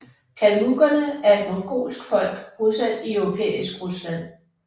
Kalmukkerne er et mongolsk folk bosat i europæisk Rusland